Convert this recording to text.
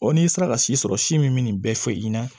n'i sera ka si sɔrɔ si min bɛ nin bɛɛ fɔ i ɲɛna